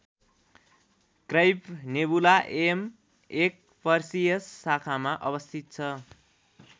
Crab Nebula M १ Perseus शाखामा अवस्थित छ।